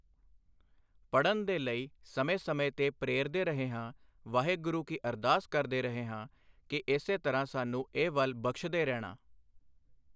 ਪੜ੍ਹਨ ਦੇ ਲਈ ਸਮੇਂ ਸਮੇਂ ਤੇ ਪ੍ਰੇਰਦੇ ਰਹੇ ਹਾਂ ਵਾਹਿਗੁਰੂ ਕੀ ਅਰਦਾਸ ਕਰਦੇ ਹਾਂ ਕਿ ਇਸੇ ਤਰ੍ਹਾਂ ਸਾਨੂੰ ਇਹ ਵੱਲ ਬਖਸ਼ਦੇ ਰਹਿਣਾ